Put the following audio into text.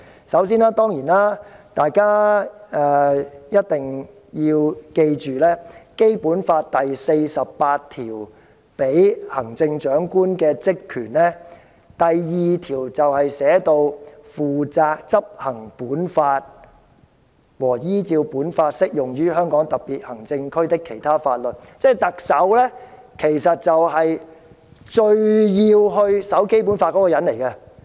首先，請大家記住，在《基本法》第四十八條賦予行政長官的職權中，第二項是"負責執行本法和依照本法適用於香港特別行政區的其他法律"，即特首其實是最需要遵守《基本法》的人。